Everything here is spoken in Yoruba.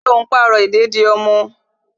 Ṣé o n pàrọ̀ ìdèdí ọmọ?